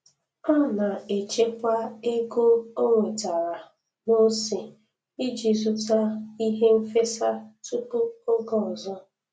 Ọ na-echekwa ego o nwetara n'ose iji zụta ihe nfesa tupu oge ọzọ